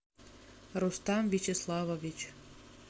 рустам вячеславович